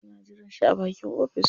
Suna jiran shi a bakin ofis.